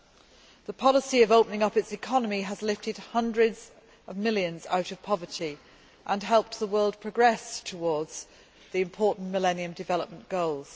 China's policy of opening up its economy has lifted hundreds of millions out of poverty and helped the world progress towards the important Millennium Development Goals.